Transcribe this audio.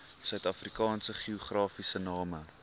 suidafrikaanse geografiese name